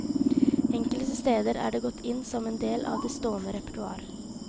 Enkelte steder er de gått inn som en del av det stående repertoar.